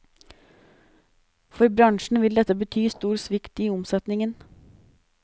For bransjen vil dette bety stor svikt i omsetningen.